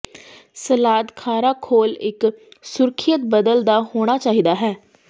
salad ਖਾਰਾ ਘੋਲ ਇੱਕ ਸੁਰੱਖਿਅਤ ਬਦਲ ਦਾ ਹੋਣਾ ਚਾਹੀਦਾ ਹੈ